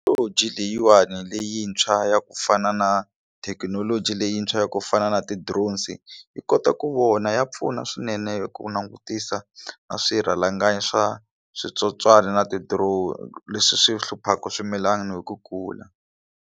Thekinoloji leyiwani leyintshwa ya ku fana na thekinoloji leyintshwa ya ku fana na ti drones yi kota ku vona ya pfuna swinene ku langutisa na swirhalanganyi swa switsotswana na ti drone leswi swi hluphaka swimilana hi ku kula.